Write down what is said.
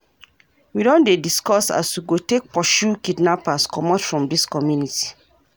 We don dey discuss as we go take pursue kidnappers comot from dis community.